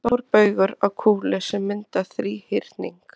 Stórbaugar á kúlu sem mynda þríhyrning.